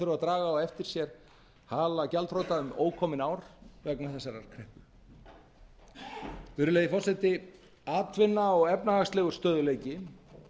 að draga á eftir sér hala gjaldþrota um ókomin ár vegna þessarar kreppu virðulegi forseti atvinna og efnahagslegur stöðugleiki